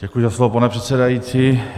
Děkuji za slovo, pane předsedající.